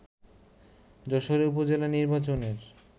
যশোরে উপজেলা নির্বাচনের